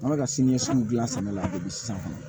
An bɛ ka siniɲɛsigiw dilan sɛnɛ la dɛ sisan kɔni